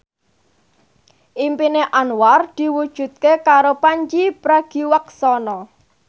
impine Anwar diwujudke karo Pandji Pragiwaksono